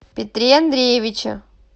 петре андреевиче